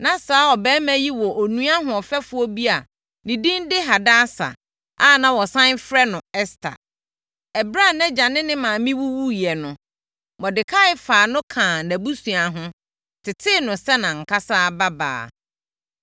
Na saa ɔbarima yi wɔ onua hoɔfɛfoɔ bi a ne din de Hadasa a na wɔsane frɛ no Ɛster. Ɛberɛ a nʼagya ne ne maame wuwuiɛ no, Mordekai faa no kaa nʼabusua ho, tetee no sɛ nʼankasa babaa.